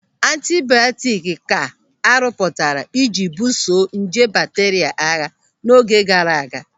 Antibiọtiki ka a rụpụtara ị ji buso nje bakteria agha n'oge gaara aga.